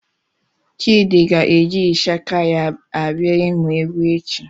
Chidi ga-eji Ịshaka ya abịa ịmụ egwu echi.